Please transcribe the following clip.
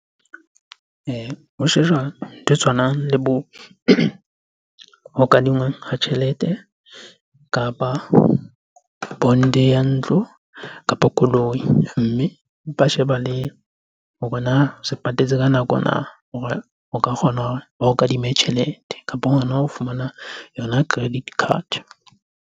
Ho shejwa ntho e tshwanang le bo ho kadingwang ha tjhelete kapa bond-e ya ntlo kapo koloi. Mme ba sheba le hore na se patetse ka nako na hore o ka kgona hore ba o kadime tjhelete kapo hona ho fumana yona credit card-e?